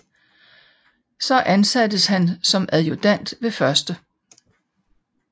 Så ansattes han som adjudant ved 1